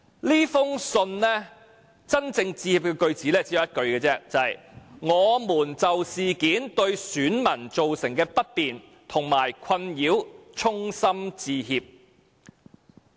這封信真正致歉的句子其實只有一句而已，便是"我們就事件對選民造成的不便和困擾衷心致歉"。